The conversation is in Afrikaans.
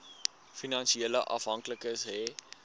finansiële afhanklikes hê